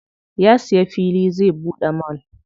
Ya siya fili zai buɗe mall.